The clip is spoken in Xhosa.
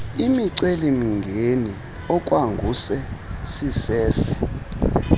imicelimngeni okwangoku sisese